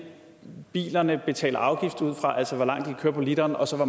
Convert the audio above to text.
bilejerne betaler afgift ud fra altså hvor langt bilerne kan køre på literen og så